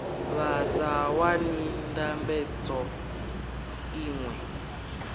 vha sa wani ndambedzo iṅwe